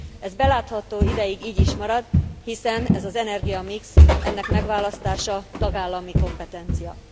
Ez belátható ideig így is marad, hiszen ez az energiamix, ennek megválasztása, tagállami kompetencia.